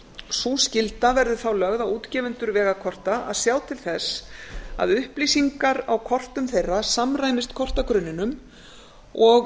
sú skylda verður þá lögð á útgefendur vegakorta að sjá til þess að upplýsingar á kortum þeirra samræmist kortagrunninum og